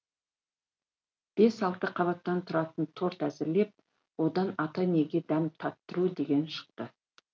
бес алты қабаттан тұратын торт әзірлеп одан ата енеге дәм татыру деген шықты